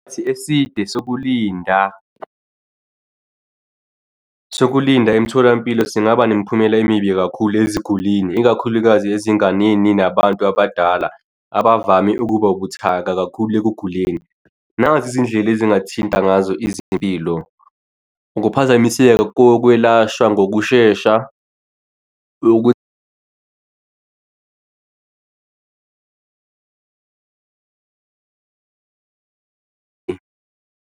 Isikhathi eside sokulinda, ukulinda emtholampilo singaba nemiphumela emibi kakhulu ezigulini, ikakhulukazi ezinganeni nabantu abadala, abavame ukuba buthaka kakhulu ekuguleni. Nazi izindlela ezingathinta ngazo izimpilo, ukuphazamiseka kokwelashwa ngokushesha .